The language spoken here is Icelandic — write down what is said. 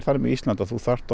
þannig með Ísland að þú þarft